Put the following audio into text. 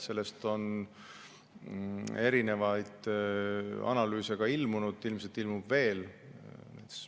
Selle kohta on ilmunud mitmeid analüüse ja ilmselt ilmub neid veel.